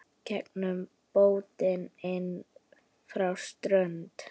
Gengur bótin inn frá strönd.